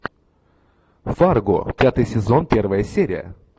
фарго пятый сезон первая серия